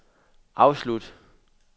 afslut